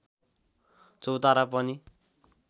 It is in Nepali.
चौतारा पनि